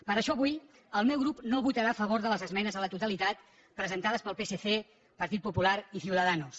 per això avui el meu grup no votarà a favor de les esmenes a la totalitat presentades pel psc partit popular i ciudadanos